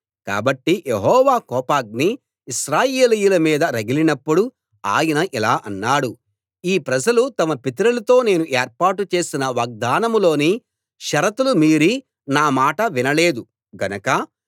కాబట్టి యెహోవా కోపాగ్ని ఇశ్రాయేలీయుల మీద రగిలినప్పుడు ఆయన ఇలా అన్నాడు ఈ ప్రజలు తమ పితరులతో నేను ఏర్పాటు చేసిన వాగ్దానంలోని షరతులు మీరి నా మాట వినలేదు గనక